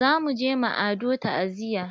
Za muje ma Ado ta'aziya.